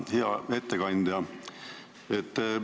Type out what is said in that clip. Hea ettekandja!